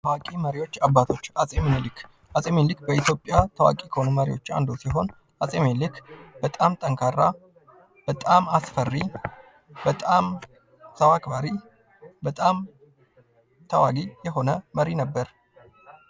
ታዋቂ መሪዎች አባቶች አጼ ሚኒሊክ አጼ ሚኒሊክ በኢትዮጵያ ታዋቂ ከሆኑ መሪዎች አንዱ ሲሆን አጼ ሚኒሊክ በጣም ጠንካራ፣ በጣም አስፈሪ ፣በጣም ሰው አክባሪ ተዋጊ የሆነ መሪ ነበር።